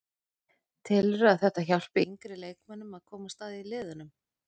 Telurðu að þetta hjálpi yngri leikmönnum að komast að í liðunum?